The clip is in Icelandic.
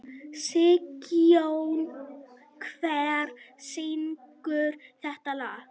Sigjón, hver syngur þetta lag?